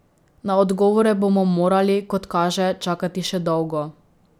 Na odgovore bomo morali, kot kaže, čakati še dolgo.